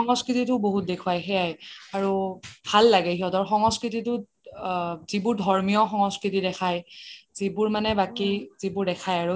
সংস্কৃতিটো বহুত দেখুৱাই সেইয়াই আৰু ভাল লাগে সিহতৰ সংস্কৃতিটোত যিবোৰ ধৰ্মীয় সংস্কৃতি দেখাই যিবোৰ মানে বাকি যিবোৰ দেখাই আৰু